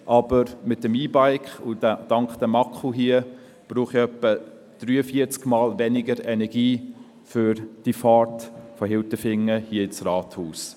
Aber mit dem E-Bike und dank diesem Akku hier brauche ich etwa 43-mal weniger Energie für die Fahrt von Hilterfingen ins Rathaus.